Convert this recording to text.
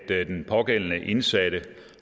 at den pågældende indsatte